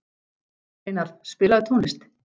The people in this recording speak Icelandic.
Steinarr, spilaðu tónlist.